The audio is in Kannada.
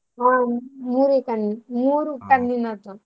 ಹಾ ಮೂರೇ ಕಣ್ ಮೂರು .